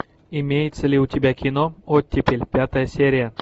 имеется ли у тебя кино оттепель пятая серия